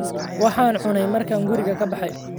Waxaan cunay markaan guriga ka baxay